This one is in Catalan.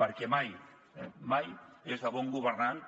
perquè mai eh mai és de bon governant